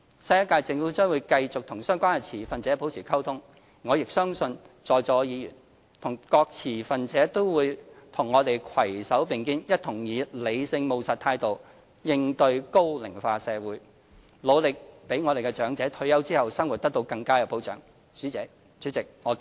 新一屆政府將會繼續與相關持份者保持溝通，而我亦相信在座議員和各持份者都會與我們攜手並肩，一同以理性務實態度應對高齡化社會，努力讓長者退休後的生活得到更佳保障。